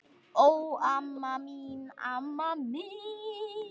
Ó, amma mín, amma mín!